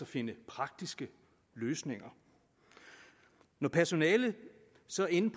finde praktiske løsninger når personalet så er inde